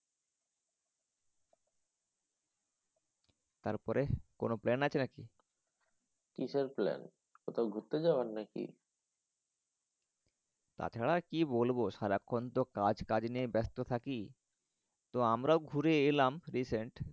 তারপরে? কোনও plan আছে নাকি? কিসের plan কোথাও ঘুরতে যাওয়ার নাকি? তাছাড়া আর কি বলবো সারাক্ষন কাজ কাজ নিয়ে ব্যাস্ত থাকি। তো আমরাও ঘুরে এলাম recent